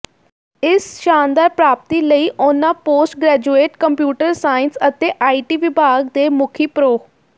ਇਸ ਸ਼ਾਨਦਾਰ ਪ੍ਰਰਾਪਤੀ ਲਈ ਉਨ੍ਹਾਂ ਪੋਸਟ ਗ੍ਰੈਜੂਏਟ ਕੰਪਿਊਟਰ ਸਾਇੰਸ ਅਤੇ ਆਈਟੀ ਵਿਭਾਗ ਦੇ ਮੁਖੀ ਪ੍ਰਰੋ